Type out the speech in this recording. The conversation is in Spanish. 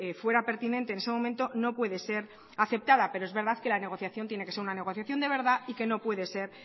fuera pertinente en ese momento no puede ser aceptada pero es verdad que la negociación tiene que ser una negociación de verdad y que no puede ser